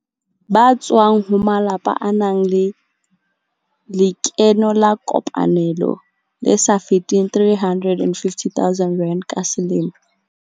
Ba tswang ho malapa a nang le lekeno la kopanelo le sa feteng R350 000 ka selemo.